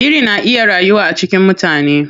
Biri na iya rayuwa a cikin mutane.